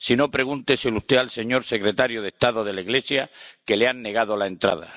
Si no, pregúnteselo usted al señor secretario de Estado de la Iglesia, al que le han negado la entrada.